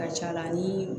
Ka ca la ni